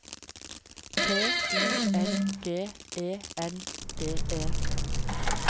T Y N G E N D E